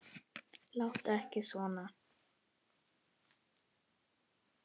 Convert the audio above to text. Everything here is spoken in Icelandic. Láttu ekki svona